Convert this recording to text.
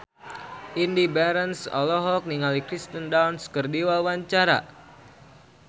Indy Barens olohok ningali Kirsten Dunst keur diwawancara